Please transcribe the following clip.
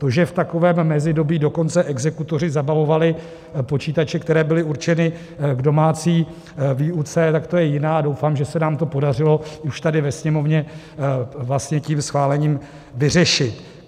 To, že v takovém mezidobí dokonce exekutoři zabavovali počítače, které byly určeny k domácí výuce, tak to je jiná, a doufám, že se nám to podařilo už tady ve Sněmovně vlastně tím schválením vyřešit.